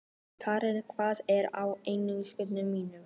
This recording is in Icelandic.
Keran, hvað er á innkaupalistanum mínum?